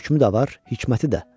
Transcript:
Hökümü də var, hikməti də.